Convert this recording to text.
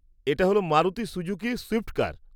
-এটা হল Maruti Suzuki Swift কার।